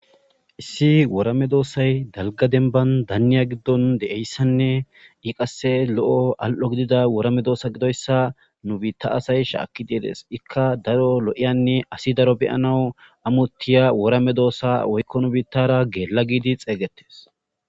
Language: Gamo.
issi woora medoossay dalga denban danniya giddon de7eyssanne i qasse lo7o al7o gidida woorame doosa gidoyssa nu biitta asay shaakki deeres ikka daro lo7iyanne asi daro beyanawu amotiya worame doossa woykko nu biittara geella giidi xeeygettes